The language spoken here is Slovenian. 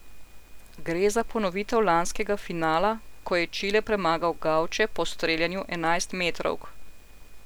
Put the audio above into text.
Gre za ponovitev lanskega finala, ko je Čile premagal gavče po streljanju enajstmetrovk.